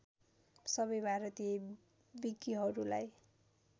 सबै भारतीय विकीहरूलाई